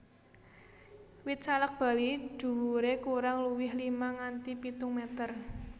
Wit salak Bali dhuwuré kurang luwih lima nganti pitung meter